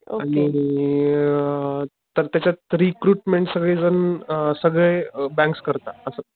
आणि अ तर त्याच्यात इनग्रोपमेन्ट मिळून सगळे जण सगळे बॅंक्स करता असं.